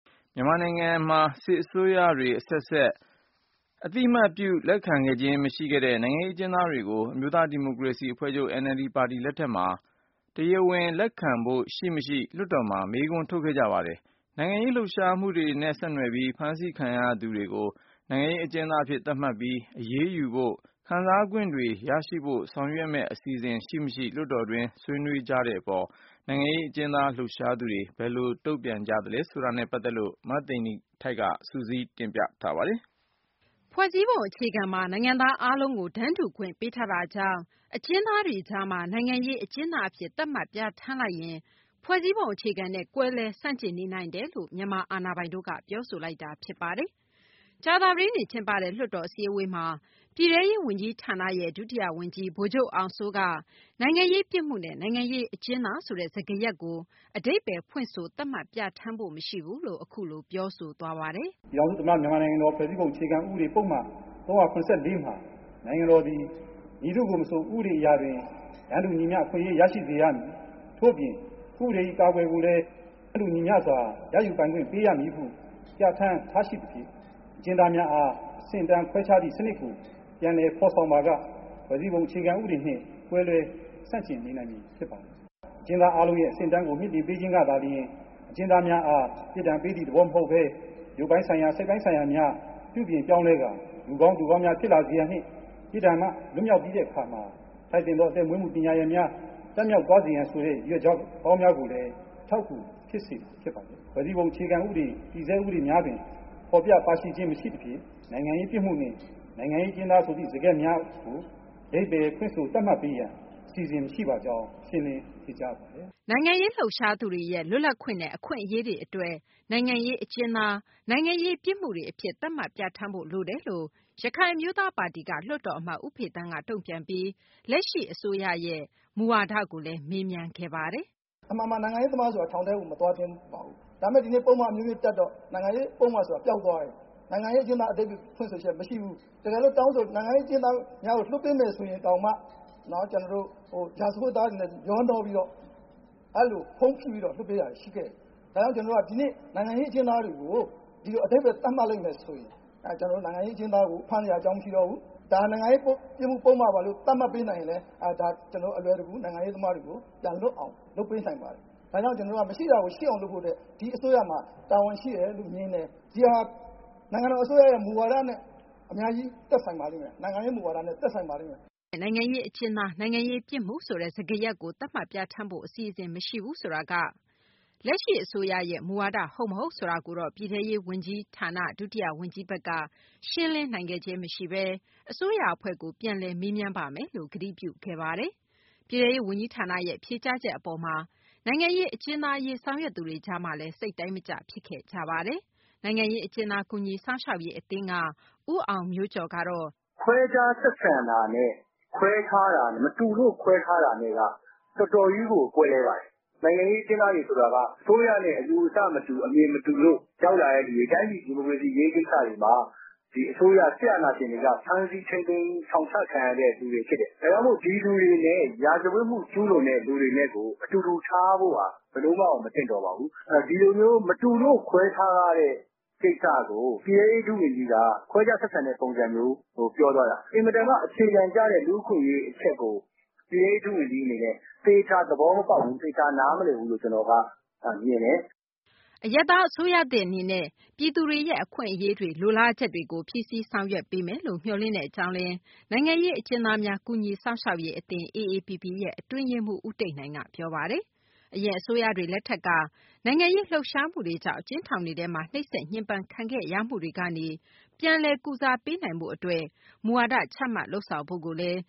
မြန်မာနိုင်ငံမှာ စစ်အစိုးရတွေ အဆက်ဆက်လက်ထက် အသိအမှတ်ပြု လက်ခံခဲ့ခြင်း မရှိခဲ့တဲ့ နိုင်ငံရေးအကျဉ်းသားတွေကို အမျိုးသားဒီမိုကရေစီအဖွဲ့ချုပ် ပါတီ လက်ထက်မှာ တရားဝင် လက်ခံဖို့ ရှိမရှိ လွှတ်တော်မှာ မေးခွန်းထုတ် ခဲ့ကြပါတယ်။ နိုင်ငံရေး လှုပ်ရှားမှုတွေနဲ့ ဆက်နွယ်ပြီး ဖမ်းဆီးခံရသူတွေ ကို နိုင်ငံရေး အကျဉ်းသားအဖြစ် သတ်မှတ်ပြီး အရေးယူဖို့၊ ခံစားခွင့်တွေ ရရှိဖို့ ဆောင်ရွက်မယ့် အစီအစဉ်ရှိမရှိ လွှတ်တော်တွင်း ဆွေးနွေးခဲ့ကြတဲ့ အပေါ်မှာ နိုင်ငံရေး အကျဉ်းသားရေး လှုပ်ရှားသူတွေ ဘယ်လို တုံ့ပြန်ခဲ့ကြသလဲ ဆိုတာကိုတော့ မသိဂီ ၤထိုက်က စုစည်းတင်ပြထားပါတယ်။ ဖွဲ့စည်းပုံ အခြေခံမှာ နိုင်ငံသား အားလုံးကို တန်းတူခွင့်ပေးထားတာကြောင့် အကျဉ်းသားတွေကြားမှာ နိုင်ငံရေး အကျဉ်းသား အဖြစ် သတ်မှတ်ပြဌာန်းလိုက်ရင် ဖွဲ့စည်းပုံ အခြေခံနဲ့ ကွဲလွဲဆန့်ကျင်နေနိုင်တယ် လို့ မြန်မာ အာဏာပိုင်တွေ က ပြောဆိုလိုက်ပါတယ်။ ကြာသပတေးနေ့ ကျင်းပတဲ့ လွှတ်တော် အစည်းအဝေး မှာ ပြည်ထဲရေး ဝန်ကြီးဌာနရဲ့ ဒုတိယ ဝန်ကြီး ဗိုလ်ချုပ်အောင်စိုး က နိုင်ငံရေး ပြစ်မှု နဲ့ နိုင်ငံရေး အကျဉ်းသားဆိုတဲ့ စကားရပ်ကို အဓိပ္ပါယ်ဖွင့်ဆို သတ်မှတ်ပြဌာန်းဖို့ မရှိဘူးလို့ အခုလို ပြောဆိုသွားပါတယ်။ " ပြည်ထောင်စုသမ္မတနိုင်ငံတော် ဖွဲ့စည်းပုံ အခြေခံဥပဒေပုဒ်မ ၃၇၄ မှာ နိုင်ငံတော်သည် မည်သူ့ကိုမဆို ဥပဒေအရာတွင် တန်းတူညီမျှ အခွင့်အရေး ရရှိစေရမည် ထို့အပြင် ဥပဒေ၏ အကာအကွယ်ကိုလည်း တန်းတူညီမျစွာ ရယူပိုင်ခွင့် ပေးရမည်ဟု ပြဋ္ဌာန်း ထားရှိသဖြင့် အကျဉ်းသားများအား အဆင့်အတန်း ခွဲခြားသည့် စနစ်ကို ပြန်လည်ဖော်ဆောင်ပါက ဖွဲ့စည်းပုံအခြေခံဥပဒေနှင့် ကွဲလွဲဆန့်ကျင်နေနိုင်မည်ဖြစ်ပါသည်။ အကျဉ်းသားအားလုံး၏ အဆင့်အတန်းကို မြှင့်တင်ပေးခြင်းကသာလျှင် အကျဉ်းသားများအား ပြစ်ဒဏ်ပေး သည့် သဘောမဟုတ်ပဲ ရုပ်ပိုင်းဆိုင်ရာ၊ စိတ်ပိုင်းဆိုင်ရာများ ပြုပြင်ပြောင်းလဲကာ လူကောင်းသူကောင်းများ ဖြစ် လာစေရန်နှင့် ပြစ်ဒဏ်မှ လွတ်မြောက်ပြီးတဲ့အခါ ထိုက်သင့်သည့် ပညာရပ်များ တတ်မြောက်သွားစေရန် စသည့် ရည်ရွယ်ချက်ကောင်း များကိုလည်း အထောက်အကူဖြစ်စေမှာဖြစ်ပါတယ်။ ဖွဲ့စည်းပုံဥပဒေ တည်ဆဲ ဥပဒေများတွင် ဖော်ပြပါရှိခြင်း မရှိသဖြင့် နိုင်ငံရေးပြစ်မှု နဲ့ နိုင်ငံရေး အကျဉ်းသား ဟူသည့် စကားရပ်များကို အဓိပါယ်ဖွင့်ဆိုသတ်မှတ်ပေးရန် အစီအစဉ်မရှိပါကြောင်း ရှင်းလင်းဖြေကြားလိုပါတယ်။ " နိုင်ငံရေး လှုပ်ရှားသူတွေရဲ့ လွတ်လပ်ခွင့်နဲ့ အခွင့်အရေးတွေ အတွက် နိုင်ငံရေး အကျဉ်းသား၊ နိုင်ငံရေး ပြစ်မှုတွေ အဖြစ် သတ်မှတ်ပြဌာန်းဖို့ လိုတယ်လို့ ရခိုင်အမျိုးသားပါတီက လွှတ်တော်အမတ် ဦးဖေသန်းက တုံ့ပြန်ပြီး လက်ရှိ အစိုးရသစ်ရဲ့ မူဝါဒကိုလည်း မေးမြန်းခဲ့တာပါ။ " အမှန်မှန်မှာ နိုင်ငံရေးသမားဆိုတာ ထောင်ထဲကို မသွားသင့်ပါဘူး။ ဒါပေမဲ့ ဒီကနေ့ ပုဒ်မ အမျိုးမျိုးတပ်တော့ နိုင်ငံရေး ပုဒ်မ ဆိုတာ ပျောက် သွားတယ်။ နိုင်ငံရေး အကျဉ်းသား အဓိပါယ်ဖွင့်ဆိုချက် မရှိဘူး။ တကယ်လို့ နိုင်ငံရေးအကျဉ်းသားများကို လွှတ်ပေးမယ်ဆိုရင်တောင်မှ ရာဇဝတ်သားတွေနဲ့ ရောနှောပြီးတော့မှ အဲ့လိုဖုန်းဖိပြီးတော့မှ လွှတ်ပေးတာတွေရှိခဲ့တယ်။ ဒါကြောင့် ကျနော်တို့က ဒီနေ့ နိုင်ငံရေးအကျဉ်းသားတွေကို အဓိပါယ် သတ်မှတ်လိုက်မယ် ဆိုရင် နိုင်ငံရေးအကျဉ်းသားကို ဖမ်းစရာအကြောင်း မရှိတော့ဘူး။ ဒါ နိုင်ငံရေးပြစ်မှု ပုဒ်မပါလို့ သတ်မှတ်ပေးလိုက်ရင်လည်း ဒါ ကျနော်တို့ နိုင်ငံရေး အကျဉ်းသားတွေ ကို ပြန်လွတ်အောင် လုပ်ပေးနိုင်ပါတယ်။ ဒါကြောင့် ကျနော်တို့က မရှိတာကို ရှိအောင် လုပ်ဖို့အတွက် ဒီအစိုးရမှာ တာဝန်ရှိတယ်လို့ မြင်တယ်။ ဒီဟာဟာ နိုင်ငံတော် အစိုးရရဲ့ မူဝါဒနဲ့ အများကြီး သက်ဆိုင်ပါလိမ့်မယ်။ နိုင်ငံရေး မူဝါဒနဲ့ သက်ဆိုင်ပါလိမ့်မယ်။" လက်ရှိ အစိုးရ အနေနဲ့ နိုင်ငံရေး အကျဉ်းသား၊ နိုင်ငံရေး ပြစ်မှု ဆိုတဲ့ စကားရပ်ကို သတ်မှတ်ပြဌာန်းဖို့ အစီအစဉ် မရှိဘူးဆိုတာက လက်ရှိ အစိုးရရဲ့ မူဝါဒ ဟုတ်မဟုတ် ဆိုတာကိုတော့ ပြည်ထဲရေး ဒုတိယ ဝန်ကြီးဘက်က ရှင်းလင်းနိုင်ခဲ့ခြင်း မရှိဘဲ အစိုးရ အဖွဲ့ကို ပြန်လည် မေးမြန်းပါမယ်လို့ ကတိပြုခဲ့ပါတယ်။ ပြည်ထဲရေး ဝန်ကြီးဌာနရဲ့ ဖြေကြားချက် အပေါ်မှာ နိုင်ငံရေး အကျဉ်းသား အရေး ဆောင်ရွက်သူတွေကြား မှာလည်း စိတ်တိုင်းမကျ ဖြစ်ခဲ့ကြတာပါ။ နိုင်ငံရေး အကျဉ်းသား ကူညီစောင့်ရှောက်ရေး အသင်း AAPP က ဦးအောင်မျိုးကျော် ကတော့ " ခွဲခြားဆက်ဆံတာနဲ့ ခွဲခြားတာနဲ့ သူတို့ခွဲထားတာက တော်တော်ကြီးကို ကွဲပါတယ်။ နိုင်ငံရေးအကျဉ်းသားတွေဆိုတာက အစိုးရနဲ့ အယူအဆမတူ အမြင်မတူလို့ ရောက်လာတဲ့သူတွေ တိုင်းပြည်ဒီမိုကရေစီရေးကိစ္စတွေ မှာ အစိုးရ စစ်အာဏာရှင်တွေက ဖမ်းဆီးထိန်းသိမ်း ထောင်ချခံရသူတွေဖြစ်တယ်။ ဒါကြောင့်မို့လို့ ဒီလူတွေနဲ့ ရာဇဝတ်မှုကျူးလွန်သူတွေနဲ့ အတူတူထားဖို့ဟာ ဘယ်လိုမှကို မသင့်တော်ပါဘူး။ ဒီလိုမျိုး မတူလို့ ခွဲခြားထားတဲ့ ကိစ္စကို ပြည်ထဲရေး ဒုဝန်ကြီးက ခွဲခြားဆက်ဆံဖို့ပြောသွားတာ အင်မတန်မှ အခြေခံကျတဲ့ လူ့အခွင့်အရေးဆိုတဲ့အချက်ကို ပြည်ထဲရေးဒုဝန်ကြီးအနေနဲ့ သေချာ သဘောမပေါက်ဘူး။ သေချာ နားမလည်ဘူးလို့ ကျနော်က မြင်တယ်။" အရပ်သား အစိုးရသစ် အနေနဲ့ ပြည်သူတွေရဲ့ အခွင့်အရေးတွေ လိုလားချက်တွေကို ဖြည့်ဆည်းဆောင်ရွက်ပေးမယ်လို့ မျှော်လင့်တဲ့ အကြောင်းလည်း နိုင်ငံရေး အကျဉ်းသားများ ကူညီစောင့်ရှောက်ရေး အသင်း AAPP ရဲ့ အတွင်းရေးမှူး ဦးတိတ်နိုင်ကလည်း ပြောပါတယ်။ အရင် အစိုးရတွေ လက်ထက်က နိုင်ငံရေး လှုပ်ရှားမှုတွေကြောင့် အကျဉ်းထောင်တွေထဲမှာ နှိပ်စက်ညှင်းပမ်းခံခဲ့ရမှုတွေကနေ ပြန်လည်ကုစားပေးနိုင်ဖို့ အတွက် မူဝါဒ ချမှတ်လုပ်ဆောင်ဖို့လည်း